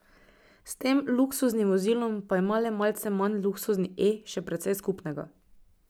S tem luksuznim vozilom pa ima le malce manj luksuzni E še precej skupnega.